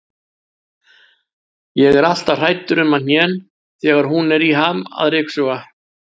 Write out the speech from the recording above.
Ég er alltaf hræddur um hnén þegar hún er í ham að ryksuga.